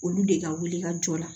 Olu de ka wuli ka jɔ la